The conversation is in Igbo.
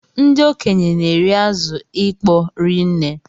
Ndị okenye na-eri azụ ịkpọ ri nne.